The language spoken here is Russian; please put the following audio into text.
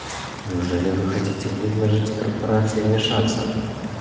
неужели вы хотите предложить корпорации вмешаться